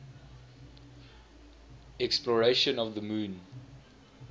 exploration of the moon